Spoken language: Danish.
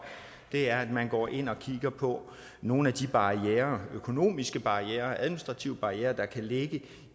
er at man går ind og kigger på nogle af de barrierer økonomiske barrierer administrative barrierer der kan ligge